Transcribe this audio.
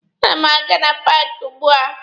A na m aga na paaki ugbua?